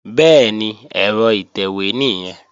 Bẹ́ẹ̀ni, ẹ̀rọ ìtẹ̀wé nìyẹn